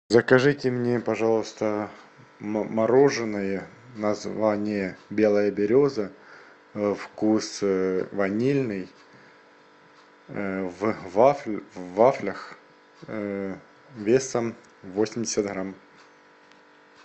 закажите мне пожалуйста мороженое название белая береза вкус ванильный в вафлях весом восемьдесят грамм